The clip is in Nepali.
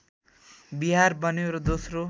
बिहार बन्यो र दोस्रो